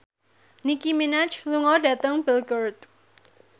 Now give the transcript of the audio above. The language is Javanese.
Nicky Minaj lunga dhateng Belgorod